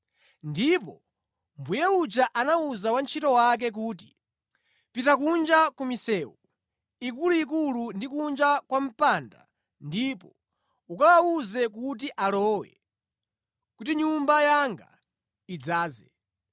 “Ndipo mbuye uja anawuza wantchito wake kuti, ‘Pita kunja ku misewu ikuluikulu ndi kunja kwa mpanda ndipo ukawawuze kuti alowe, kuti nyumba yanga idzaze.